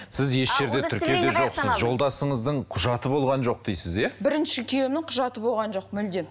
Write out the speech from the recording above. сіз еш жерде тіркеуде жоқсыз жолдасыңыздың құжаты болған жоқ дейсіз иә бірінші күйеуімнің құжаты болған жоқ мүлдем